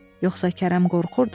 Yoxsa Kərəm qorxurdu?